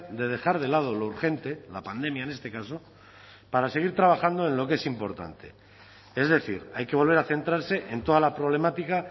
de dejar de lado lo urgente la pandemia en este caso para seguir trabajando en lo que es importante es decir hay que volver a centrarse en toda la problemática